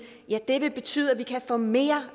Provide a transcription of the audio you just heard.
vil betyde at vi kan få mere